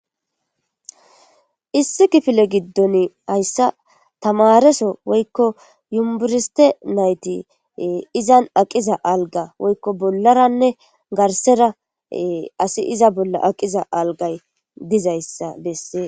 Issi kifile gidoni haysa tamareso woyko yunbereste nati izan aqiza alga woyko bollaranne garsara asi iza bolla aqiza algay dizaysa besses